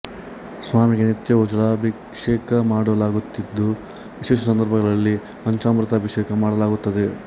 ಸ್ವಾಮಿಗೆ ನಿತ್ಯವೂ ಜಲಾಭಿಷೇಕ ಮಾಡಲಾಗುತ್ತಿದ್ದು ವಿಶೇಷ ಸಂದರ್ಭಗಳಲ್ಲಿ ಪಂಚಾಮೃತ ಅಭಿಷೇಕ ಮಾಡಲಾಗುತ್ತದೆ